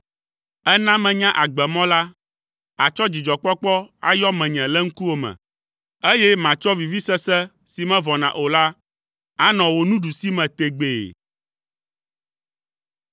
Èna menya agbemɔ la; àtsɔ dzidzɔkpɔkpɔ ayɔ menye le ŋkuwò me, eye matsɔ vivisese si mevɔna o la anɔ wò nuɖusime tegbee.